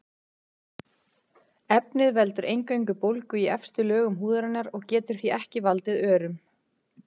Efnið veldur eingöngu bólgu í efstu lögum húðarinnar og getur því ekki valdið örum.